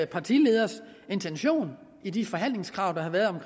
partileders intention i de forhandlingskrav der har været